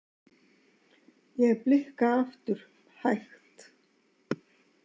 Ég blikka aftur, hægt.